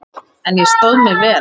En ég stóð mig vel.